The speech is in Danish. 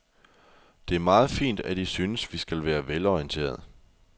Det er meget fint, at I synes, vi skal være velorienterede.